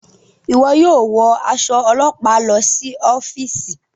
Iwọ yóò wọ aṣọ ọlọpa lọ si ọfiisi